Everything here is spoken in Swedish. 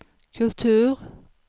kultur